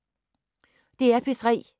DR P3